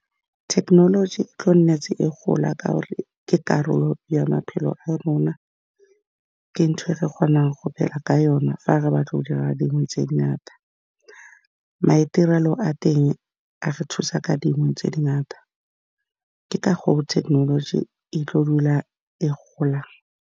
Thekenoloji e tlile go nna e gola ka gore ke karolo ya maphelo a rona, ke ntho e re kgonang go ka yona fa re batla go dira dingwe tse dingata. Maitirelo a teng a re thusa ka dingwe tse dingata, ke ka go thekenoloji e tlileng go dula e gola.